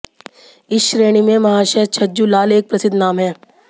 इस श्रेणी में महाशय छज्जूलाल एक प्रसिद्ध नाम है